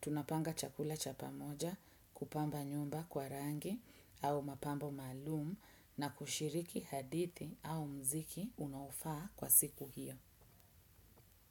tunapanga chakula cha pamoja, kupamba nyumba kwa rangi au mapambo maalum. Na kushiriki hadithi au mziki unaofaa kwa siku hiyo.